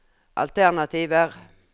alternativer